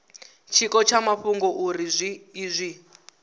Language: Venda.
tshiko tsha mafhungo uri izwi